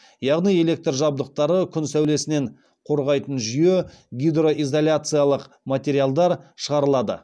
яғни электр жабдықтары күн сәулесінен қорғайтын жүйе гидроизоляциялық материалдар шығарылады